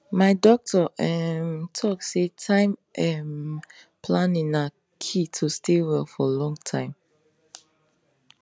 my doctor um talk say time um planning na key to stay well for long time